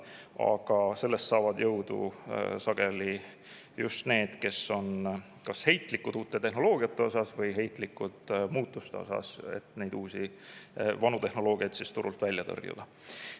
Aga sellest saavad sageli jõudu just need, kes on heitlikud kas uue tehnoloogia või muutuste suhtes, et vana tehnoloogia turult välja tõrjuda.